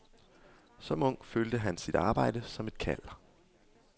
Som ung følte han sit arbejde som et kald.